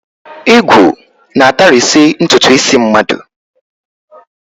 Ìgwu na-atarisi ntụtụ isi mmadụ.